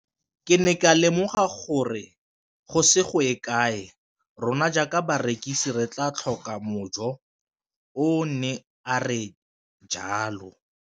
Ke ne ka lemoga gore go ise go ye kae rona jaaka barekise re tla tlhoka mojo, o ne a re jalo.